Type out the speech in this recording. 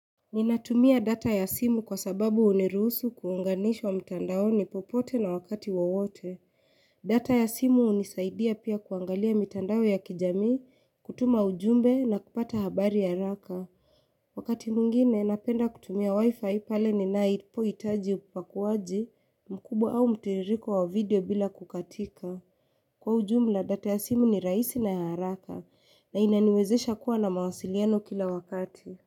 Ninatumia data ya simu kwa sababu hunirusu kuunganishwa mtandaoni popote na wakati wowote data ya simu hunisaidia pia kuangalia mitandao ya kijamii kutuma ujumbe na kupata habari haraka Wakati mwingine napenda kutumia wi-fi pale ninaipohitaji upakuaji mkubwa au mtiririko wa video bila kukatika Kwa ujumla data ya simu ni rahisi na ya haraka na inaniwezesha kuwa na mawasiliano kila wakati.